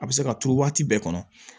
A bɛ se ka turu waati bɛɛ kɔnɔ